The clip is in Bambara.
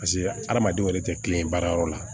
Paseke adamadenw yɛrɛ tɛ kilen baarayɔrɔ la